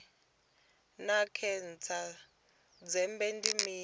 naa khentsa ya dzhende ndi mini